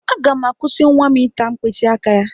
Aga m ga-akwụsị nwa m ịta mkpịsị aka ya.